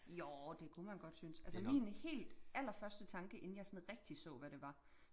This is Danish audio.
jo det kunne man godt synes altså min helt aller første tanke inden jeg sådan rigtig så hvad det var